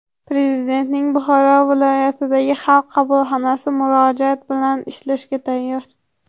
Prezidentning Buxoro viloyatidagi Xalq qabulxonasi murojaatlar bilan ishlashga tayyor.